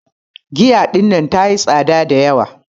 Giya ɗinnan ta yi tsaɗa da yawa.